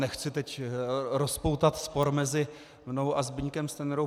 Nechci teď rozpoutat spor mezi mnou a Zbyňkem Stanjurou.